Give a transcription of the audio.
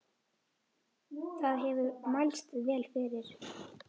Það hefur mælst vel fyrir.